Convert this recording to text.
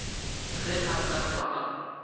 ge a ka hlwa a